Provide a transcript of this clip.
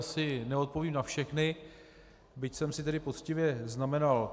Asi neodpovím na všechny, byť jsem si tedy poctivě znamenal.